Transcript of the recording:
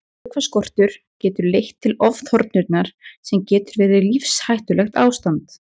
Vökvaskortur getur leitt til ofþornunar sem getur verið lífshættulegt ástand.